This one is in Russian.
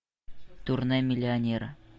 турне миллионера